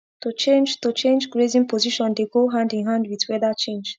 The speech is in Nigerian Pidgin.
to change to change grazing position dey go hand in hand with weather change